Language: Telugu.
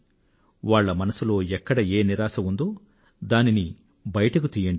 వాళ్ల మనసులో ఎక్కడ ఏ నిరాశ ఉందో దానిని బయటకు తియ్యండి